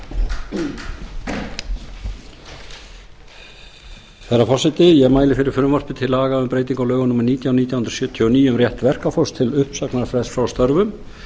herra forseti ég mæli fyrir frumvarpi til laga um breytingu á lögum númer nítján nítján hundruð sjötíu og níu um rétt verkafólks til uppsagnarfrests frá störfum